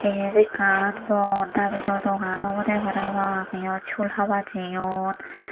yet ekkan bor nabido dogan obodey parapang iyot sul haba jeyon.